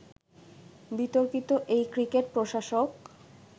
বিতর্কিত এই ক্রিকেট প্রশাসক